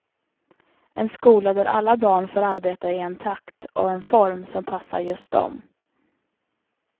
En skola där alla barn får arbeta i en takt och en form som passar just dem.